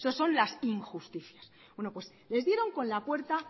eso son las injusticias les dieron con la puerta